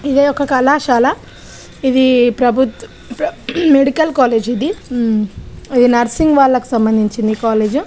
ఇది ఒక కళాశాల ఇది ప్రభుత్ ప్ర- మెడికల్ కాలేజ్ ఇది హూ ఇది నర్సింగ్ వాళ్లకు సంబంధించింది ఈ కాలేజ్.